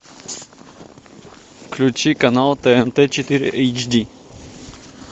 включи канал тнт четыре эйч ди